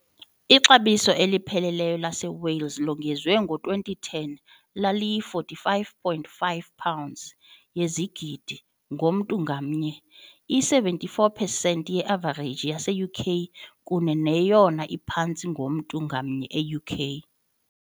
Ixabiso elipheleleyo laseWales longezwe ngo-2010 laliyi- 45.5 pounds yezigidi, ngomntu ngamnye, i-74 percent ye-avareji yase-UK, kunye neyona iphantsi ngomntu ngamnye e-UK.